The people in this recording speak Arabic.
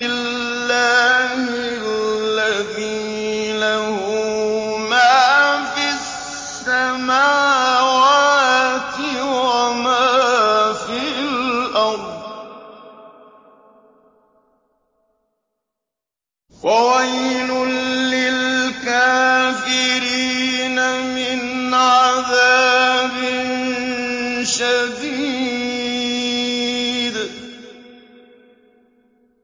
اللَّهِ الَّذِي لَهُ مَا فِي السَّمَاوَاتِ وَمَا فِي الْأَرْضِ ۗ وَوَيْلٌ لِّلْكَافِرِينَ مِنْ عَذَابٍ شَدِيدٍ